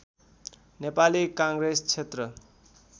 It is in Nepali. नेपाली काङ्ग्रेस क्षेत्र